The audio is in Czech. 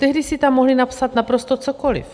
Tehdy si tam mohli napsat naprosto cokoli.